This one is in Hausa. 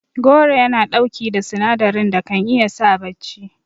Goro Yana ɗauki da sinadarin da kan iya sa bacci